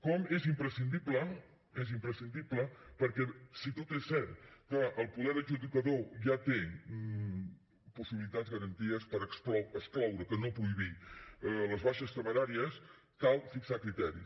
com és imprescindible és imprescindible perquè si tot és cert que el poder adjudicador ja té possibilitats garanties per excloure que no prohibir les baixes temeràries cal fixar criteris